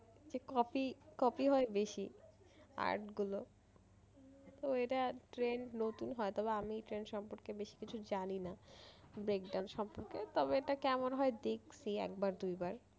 যে copy copy হয় বেশি art গুলো তো এটা trend নতুন হয় তবে আমি এই trend সম্পর্কে বেশি কিছু জানি না। breakdancing সম্পর্কে তবে এটা কেমন হয় দেখছি একবার দুইবার